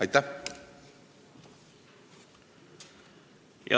Aitäh!